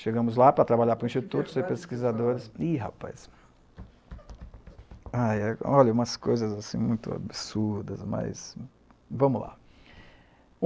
Chegamos lá para trabalhar para o Instituto, os pesquisadores... Ih, rapaz... Olha, umas coisas assim muito absurdas, mas vamos lá.